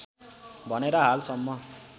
भनेर हाल सम्म